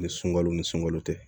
Ni sunkalo ni sunkalo tɛ